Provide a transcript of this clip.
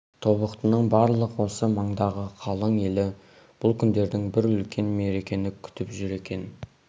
тобықтының барлық осы маңдағы қалың елі бұл күндерде бір үлкен мерекені күтіп жүр екен